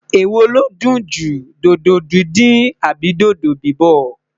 ewọ lọdun jù, dodo dindin Abi dodo bibọ?